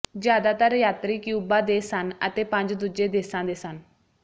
ਜ਼ਿਆਦਾਤਰ ਯਾਤਰੀ ਕਿਊਬਾ ਦੇ ਸਨ ਅਤੇ ਪੰਜ ਦੂਜੇ ਦੇਸਾਂ ਦੇ ਸਨ